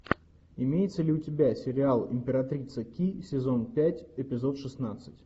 имеется ли у тебя сериал императрица ки сезон пять эпизод шестнадцать